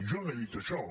jo no he dit això